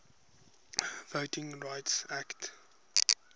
voting rights act